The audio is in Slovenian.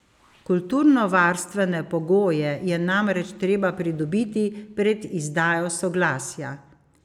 Kulturnovarstvene pogoje je namreč treba pridobiti pred izdajo soglasja.